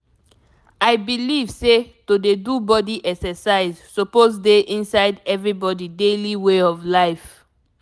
i believe say to dey do body exercise suppose dey inside everybody daily way of life.